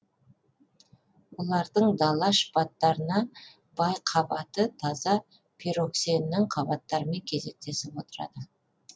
олардың дала шпаттарына бай қабаты таза пироксеннің қабаттарымен кезектесіп отырады